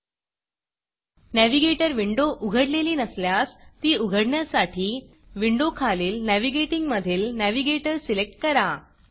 navigator window उघडलेली नसल्यास ती उघडण्यासाठी Windowविंडो खालील Navigatingनॅविगेटिंग मधील Navigatorनॅविगेटर सिलेक्ट करा